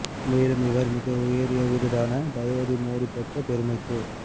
மேலும் இவர் மிக உயரிய விருதான தயவதி மோடி பெற்ற பெருமைக்கு